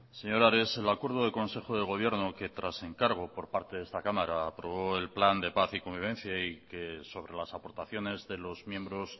señor ares el acuerdo de consejo del gobierno que tras encargo por parte de esta cámara aprobó el plan de paz y convivencia y que sobre las aportaciones de los miembros